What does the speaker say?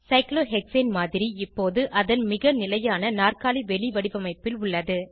cyclohexane மாதிரி இப்போது அதன் மிக நிலையான நாற்காலி வெளிவடிவமைப்பில் உள்ளது